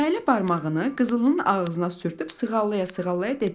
Nailə barmağını qızılının ağzına sürtüb sığallaya-sığallaya dedi: